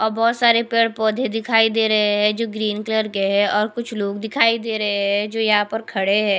अ बहोत सारे पेड़ पौधे दिखाई दे रहे है जो ग्रीन कलर के है और कुछ लोग दिखाई दे रहे है जो यहां पर खड़े है।